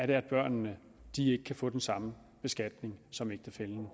det er at børnene ikke kan få den samme beskatning som ægtefællen